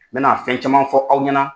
N bɛna na fɛn caman fɔ aw ɲɛna.